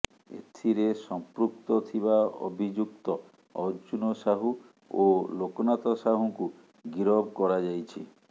ଏଥିରେ ସଂପୃକ୍ତ ଥିବା ଅଭିଯୁକ୍ତ ଅର୍ଜୁନ ସାହୁ ଓ ଲୋକନାଥ ସାହୁଙ୍କୁ ଗିରଫ କରାଯାଇଛି